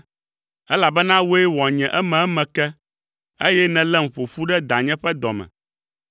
Elabena wòe wɔ nye ememe ke; eye nèlém ƒo ƒu ɖe danye ƒe dɔ me.